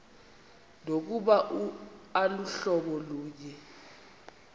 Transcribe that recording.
nokuba aluhlobo lunye